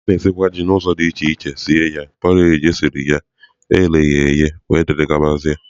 A na-esikwa Ji n'ụzọ dị iche iche sie ya, porridge esiri ya, e ghere eghe wdg.